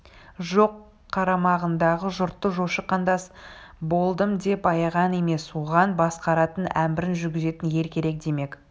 жоқ қарамағындағы жұртты жошы қандас болдым деп аяған емес оған басқаратын әмірін жүргізетін ел керек демек